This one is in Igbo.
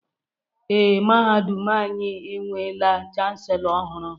Ee, mahadum anyị enweela Chanselọ ọhụrụ.